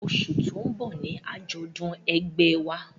Oṣù tó ń bọ̀ ni àjọ̀dún ẹgbẹ́ ẹ wa